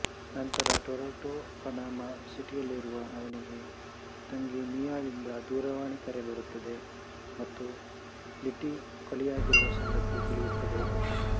ನಂತರ Toronto Panama ಸಿಟಿಯಲ್ಲಿರುವಾಗ ಅವನಿಗೆ ತಂಗಿ ಮೀಯಾಳಿಂದ ದೂರವಾಣಿ ಕರೆ ಬರುತ್ತದೆ ಮತ್ತು ಲಿಟ್ಟಿ ಕೊಲೆಯಾಗಿರುವ ಸಂಗತಿ ತಿಳಿಯುತ್ತದೆ